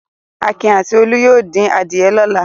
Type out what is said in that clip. Akin àti Olú yóò dín adìẹ lọ́la.